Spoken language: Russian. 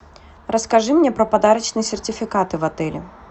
расскажи мне про подарочные сертификаты в отеле